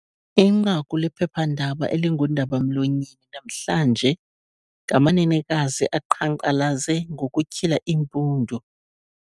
Inqaku lephephandaba eliingundaba-mlonyeni namhlanje ngamanenekazi aqhankqalaze ngokutyhila iimpundu,